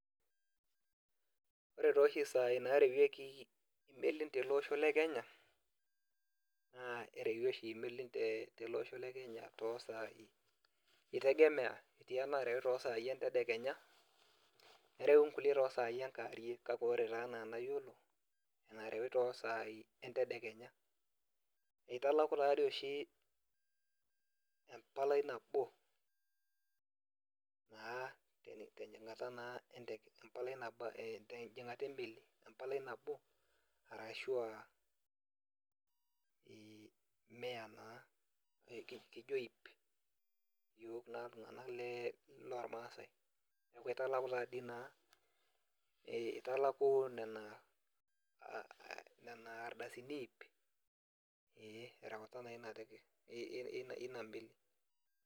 Ore taa oshi saai naretieki imelin tolosho le kenya naa erewi oshi melon tolosho le Kenya too saai itegemea, etii enarewi too sai entedekenya, nerewi nkulie too sai enkewarie, kake ore taa enaa enayiolo enarewi too saai entedekenya, enkop taa dii oshi empalai nabo tejingata emeli, empalai nabo arashu we mia naa bei naa iyiook naa iltunganak loormaasae, neeku kitalaki taa sii naa italaku Nena ardasini iip ee terewata naa eina meli.